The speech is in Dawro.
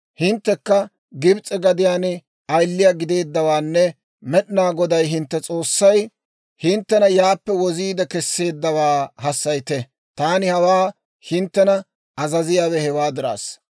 Hinttekka Gibs'e gadiyaan ayiliyaa gideeddawaanne Med'inaa Goday hintte S'oossay hinttena yaappe woziide kesseeddawaa hassayite. Taani hawaa hinttena azaziyaawe hewaa dirassa.